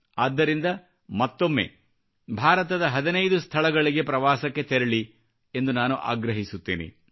ಆದ್ದರಿಂದ ಮತ್ತೊಮ್ಮೆ ಭಾರತದ 15 ಸ್ಥಳಗಳಿಗೆ ಪ್ರವಾಸಕ್ಕೆ ತೆರಳಿ ಎಂದು ನಾನು ಆಗ್ರಹಿಸುತ್ತೇನೆ